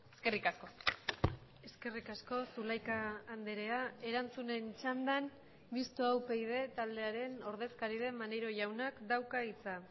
eskerrik asko eskerrik asko zulaika andrea erantzunen txandan mistoa upyd taldearen ordezkari den maneiro jaunak dauka hitza